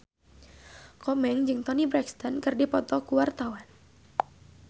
Komeng jeung Toni Brexton keur dipoto ku wartawan